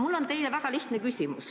Mul on teile väga lihtne küsimus.